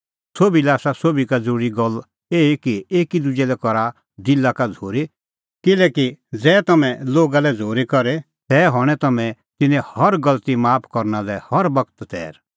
सोभी लै आसा सोभी का ज़रूरी गल्ल एही कि एकी दुजै लै करा दिला का झ़ूरी किल्हैकि ज़ै तम्हैं लोगा लै झ़ूरी करे तै हणैं तम्हैं तिन्नें हर गलती माफ करना लै हर बगत तैर